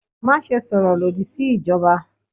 Maṣe sọrọ lodi si ijọba!